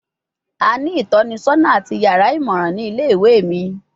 A ni itọnisọna ati yara imọran ni ile-iwe mi